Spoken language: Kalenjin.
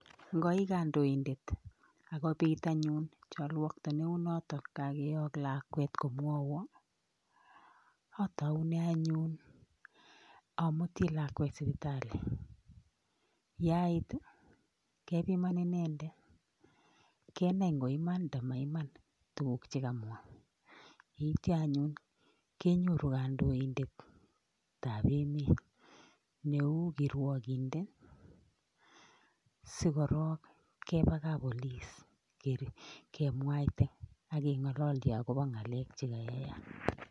Ngoikandoindeet akobit anyuun chalwakta kebiman inendeet akwteo kototosncminwndeet ngaleek chemwaeee